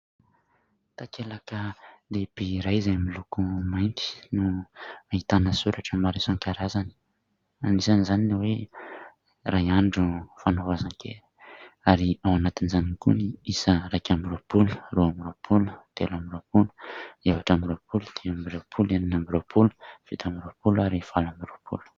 Takelaka lehibe iray izay miloko mainty no ahitana soratra maro isan-karazany. Anisan'izany ny hoe "Iray andro fanovozan-kery". Ary ao anatin'izany ihany koa ny isa iraika amby roapolo, roa amby roapolo, telo amby roapolo, efatra amby roapolo, dimy amby roapolo, enina amby roapolo, fito amby roapolo ary valo amby roapolo.